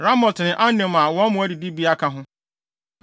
Ramot ne Anem a wɔn mmoa adidibea ka ho.